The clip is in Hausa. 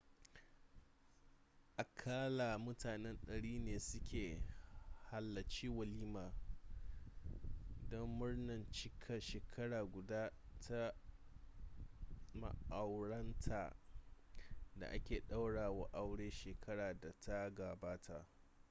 aƙalla mutane 100 ne suka halarci walimar don murnar cikar shekara guda ta ma'auratan da aka ɗaura wa aure shekarar da ta gabata